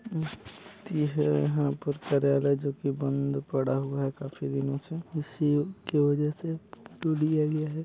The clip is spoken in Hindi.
शांति है यहाँ पर कार्यालय जो की बंद पड़ा हुआ है काफी दिनों से इसके वजह से--।